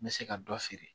N bɛ se ka dɔ feere